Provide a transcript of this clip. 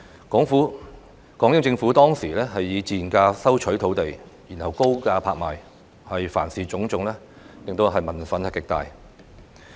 港英政府當時以賤價收取土地，然後高價拍賣，凡此種種導致民憤極大。